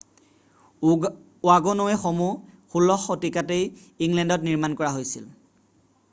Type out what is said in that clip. ৱাগ'নৱে'সমূহ 16 শতিকাতেই ইংলেণ্ডত নিৰ্মাণ কৰা হৈছিল